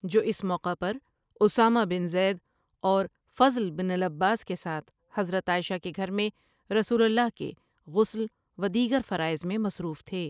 جو اس موقع پر اسامہ بن زید اور فضل بن العباس کے ساتھ حضرت عائشہ کے گھر میں رسول اللہ کے غسل و دیگر فرائض میں مصروف تھے ۔